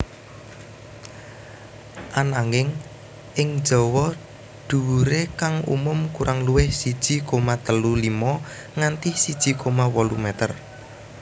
Ananging ing Jawa dhuwure kang umum kurang luwih siji koma telu limo nganti siji koma wolu meter